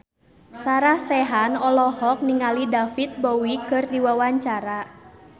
Sarah Sechan olohok ningali David Bowie keur diwawancara